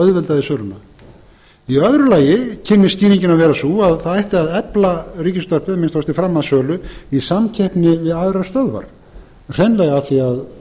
í öðru lagi kynni skýringin að vera sú að það ætti að efla ríkisútvarpið að minnsta kosti fram að sölu í samkeppni við aðrar stöðvar hreinlega af því að